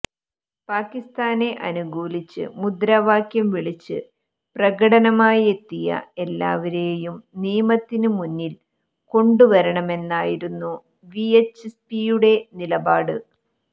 പാക്കിസ്ഥാനെ അനുകൂലിച്ച് മുദ്രാവാക്യം വിളിച്ച് പ്രകടനമായെത്തിയ എല്ലാവേരുയും നിയമത്തിന് മുന്നിൽ കൊണ്ടുവരണമെന്നായിരുന്നു വിഎച്ച്പിയുടെ നിലപാട്